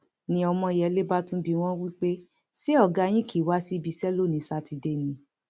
ni ọmọyẹlẹ bá tún bi wọn wí pé ṣé ọgá yín kì í wá síbi iṣẹ lónìín sátidé ni